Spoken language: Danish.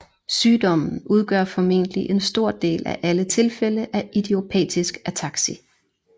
Sygdommen udgør formentlig en stor del af alle tilfælde af Idiopatisk ataksi